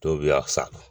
Dɔw bɛ a sa